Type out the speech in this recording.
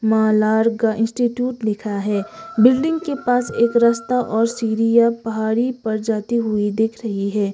मलाड का इंस्टिट्यूट लिखा है बिल्डिंग के पास एक रास्ता और सीरिया पहाड़ी पर जाती हुई दिख रही है।